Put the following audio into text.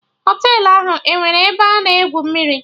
Họtelụ ahụ enwere ebe a na-egwu mmiri?